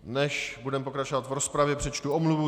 Než budeme pokračovat v rozpravě, přečtu omluvu.